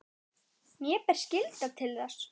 Mér ber skylda til þess.